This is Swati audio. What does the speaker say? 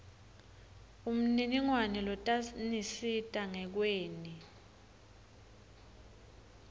umniningwane lotanisita ngekweni